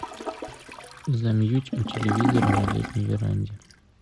замьють у телевизора на летней веранде